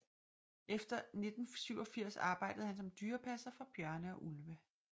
Efter 1987 arbejdede han som dyrepasser for bjørne og ulve